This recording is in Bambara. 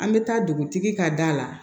An bɛ taa dugutigi ka da la